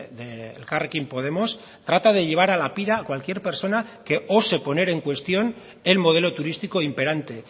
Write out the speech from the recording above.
de elkarrekin podemos trata de llevar a la pira a cualquier persona que ose poner en cuestión el modelo turístico imperante